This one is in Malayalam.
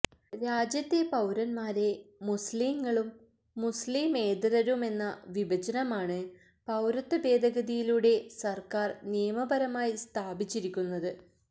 രാജ്യത്തെ പൌരന്മാരെ മുസ്ലിംകളും മുസ്ലിമേതരരുമെന്ന വിഭജനമാണ് പൌരത്വ ഭേദഗതിയിലൂടെ സര്ക്കാര് നിയമപരമായി സ്ഥാപിച്ചിരിക്കുന്നത്